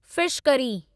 fish curry